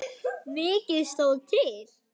Mikið stóð til.